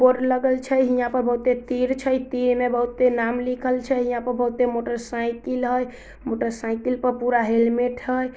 Board लगल छै हिया पर बहुते तीर छै तीर ने बहुते नाम लिखल छै यहाँ पर बहुते मोटर साइकिल है मोटर साइकिल पूरा हेलमेट है।